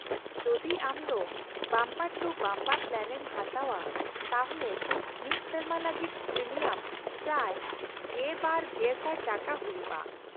-ᱡᱩᱫᱤ ᱟᱢ ᱫᱚ ᱵᱟᱢᱯᱟᱨᱼᱴᱩᱼᱵᱟᱢᱯᱟᱨ ᱯᱞᱟᱱᱮᱢ ᱦᱟᱛᱟᱣᱼᱟ ᱛᱟᱦᱚᱞᱮ ᱢᱤᱫ ᱥᱮᱨᱢᱟ ᱞᱟᱹᱜᱤᱫ ᱯᱨᱤᱢᱤᱭᱟᱢ ᱯᱨᱟᱭ ᱑᱒,᱐᱐᱐ ᱴᱟᱠᱟ ᱦᱩᱭᱩᱜᱼᱟ ᱾